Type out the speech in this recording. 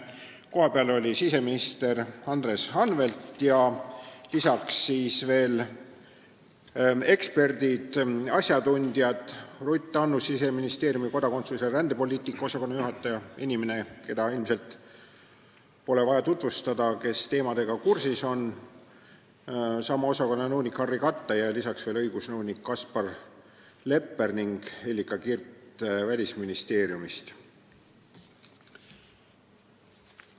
Kohapeal olid siseminister Andres Anvelt ja lisaks veel eksperdid-asjatundjad Ruth Annus, Siseministeeriumi kodakondsus- ja rändepoliitika osakonna juhataja – ta on inimene, keda ilmselt pole vaja tutvustada neile, kes teemaga kursis on –, sama osakonna nõunik Harry Kattai ning lisaks veel õigusnõunik Kaspar Lepper ja Hellika Kirt Välisministeeriumist.